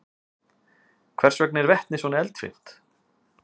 hvers vegna er vetni svona eldfimt